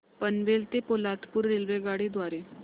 पनवेल ते पोलादपूर रेल्वेगाडी द्वारे